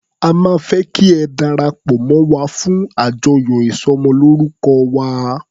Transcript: A máa fẹ́ kí ẹ darapọ̀ mọ́ wa fún àjọyọ̀ ìsọmọlórúkọ wa.